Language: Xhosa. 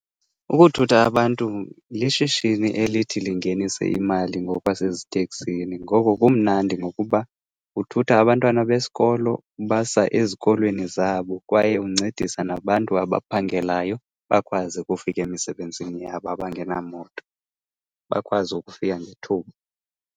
Ukuthutha abantu lishishini elithi lingenise imali ngokwaseziteksini. Ngoko kumnandi ngokuba uthutha abantwana besikolo ubasa ezikolweni zabo. Kwaye uncedisa nabantu abaphangelayo bakwazi ukufika emisebenzini yabo abangenamoto, bakwazi ukufika ngethuba.